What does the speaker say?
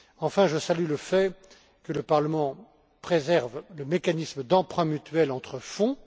Enfin, je salue le fait que le Parlement préserve le mécanisme d'emprunt mutuel entre fonds.